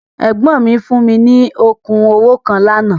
Ẹ̀gbọ́n mi fún mi ní okùn owó kan lánàá.